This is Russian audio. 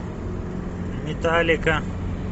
металлика